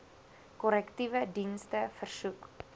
korrektiewe dienste versoek